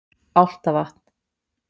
Álftavatni